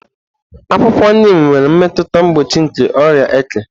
Akwụkwọ Niim nwere mmetụta mgboochi nke oria eke.